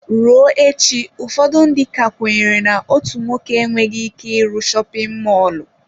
Ruo echi ụfọdụ ndị ka kwenyere na otu nwoke enweghị ike ịrụ shopin mọlụ.